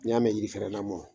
N'i y'a mɛn yiri fɛrɛn namɔ